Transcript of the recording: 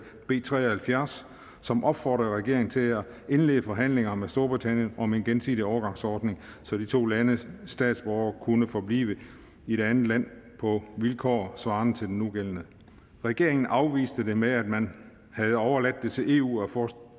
b tre og halvfjerds som opfordrede regeringen til at indlede forhandlinger med storbritannien om en gensidig overgangsordning så de to landes statsborgere kunne forblive i det andet land på vilkår svarende til de nugældende regeringen afviste det med at man havde overladt det til eu at forestå